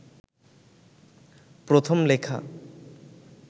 প্রথম লেখা